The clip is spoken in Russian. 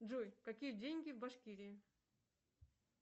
джой какие деньги в башкирии